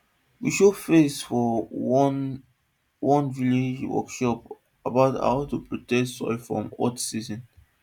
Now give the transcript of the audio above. we show face for one one village workshop about how to protect soil for hot season